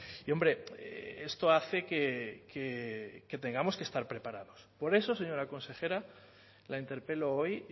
y hombre esto hace que tengamos que estar preparados por eso señora consejera la interpelo hoy